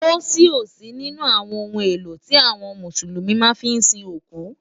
Pósí ó sí ninú áwòn óhún éló ti áwòn Músúlúmi má fi n sín ókú.